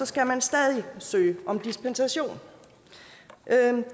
skal man stadig søge om dispensation